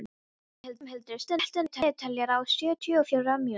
Ormhildur, stilltu niðurteljara á sjötíu og fjórar mínútur.